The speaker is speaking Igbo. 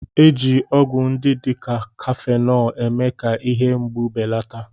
Eji ọgwụ ndị dị ka Kafenọ eme-ka ihe mgbu belata